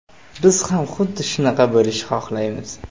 Biz ham xuddi shunaqa bo‘lishi xohlaymiz.